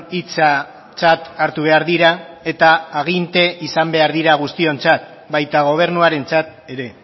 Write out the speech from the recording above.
hitzatzat hartu behar dira eta aginte izan behar dira guztiontzat baita gobernuarentzat ere